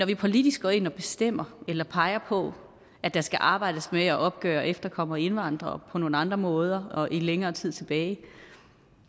vi politisk går ind og bestemmer eller peger på at der skal arbejdes med at opgøre efterkommere og indvandrere på nogle andre måder og i længere tid tilbage